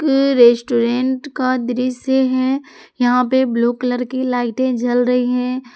ये रेस्टोरेंट का दृश्य है यहां पर ब्लू कलर की लाइटें जल रही है।